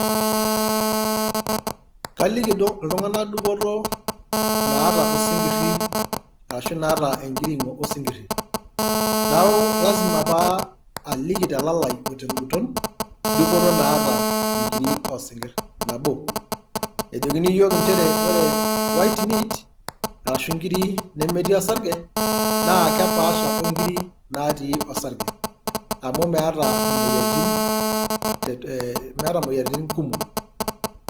kaliki iltunganak dupoto naata osinkiri, arashu naata enkiring'o osinkiri. neeku lazima pee aliki telalai o te nguton dupoto naa inkiri oosinkir, nabo ejokini iyiook inchere, ore white meat, arashu inkiri nemetii osarge ,naa kepaasha onkiri naatii osarge. amu meeta imoyiaritin kumok.